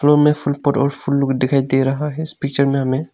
Room में फूल pot और फूल लोग दिखाई दे रहा है इस पिक्चर में हमें।